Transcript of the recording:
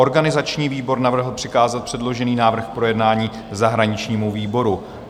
Organizační výbor navrhl přikázat předložený návrh k projednání zahraničnímu výboru.